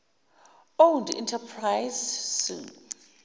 owned enterprises soe